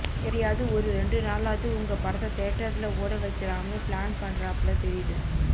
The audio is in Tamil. எப்படியாது ஒரு ரெண்டு நாளாது உங்க படத்த தியேட்டர்ல ஓட வைக்கலாம்னு பிளான் பண்றாப்ள தெரியுது